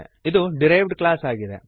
ಇದು derived class ಆಗಿದೆ